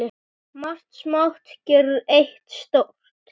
Margt smátt gerir eitt stórt